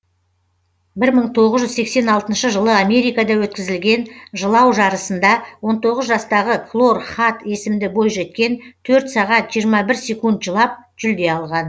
бір мың тоғыз жүз сексен алтыншы жылы америкада өткізілген жылау жарысында он тоғыз жастағы клор хад есімді бойжеткен төрт сағат жиырма бір секунд жылап жүлде алған